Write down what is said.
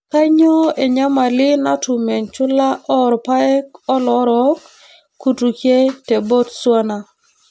Kainyioo enyamali natum enchula oorpaek oloorook kutukie te Botswana.